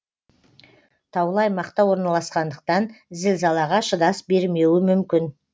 таулы аймақта орналасқандықтан зілзалаға шыдас бермеуі мүмкін